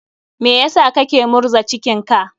Me sa kake murza cikin ka?